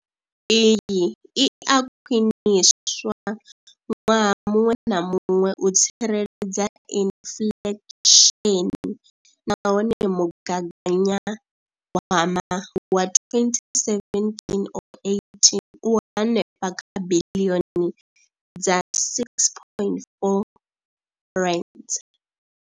Iyi i a khwiniswa ṅwaha muṅwe na muṅwe u tsireledza inflesheni nahone mugaganya gwama wa 2017 or 18 u henefha kha biḽioni dza R6.4.